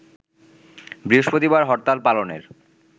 বৃহস্পতিবার হরতাল পালনের